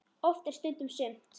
Oft er stundum sumt.